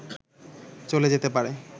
চলে যেতে পারে